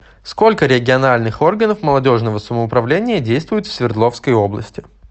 сколько региональных органов молодежного самоуправления действует в свердловской области